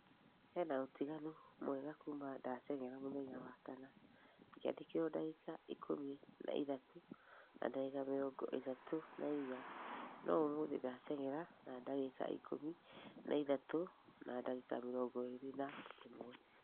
he na ũtiganu mwegega kuuma ndatengera mũthenya wa kana ngĩandikĩrwo dagĩka ikũmi na ithatũ na dagĩka mĩrongo ĩtatũ na inya nũ ũmũthi ndatengera na dagĩka ikũmi na ithatũ na dagĩka mirongo erĩ na ĩmwe